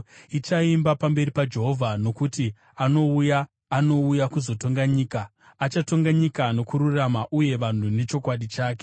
ichaimba pamberi paJehovha, nokuti anouya, anouya kuzotonga nyika. Achatonga nyika nokururama, uye vanhu nechokwadi chake.